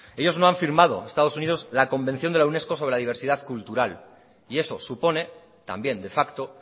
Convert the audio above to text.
ellos no han firmado estado unidos la convención de la unesco sobre la diversidad cultural y eso supone también de facto